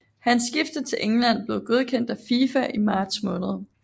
Hans skifte til England blev godkendt af FIFA i marts måned